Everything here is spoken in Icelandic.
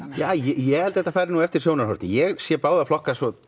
ég held þetta fari eftir sjónarhorni ég sé báða flokka svo